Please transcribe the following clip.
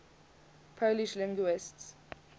polish linguists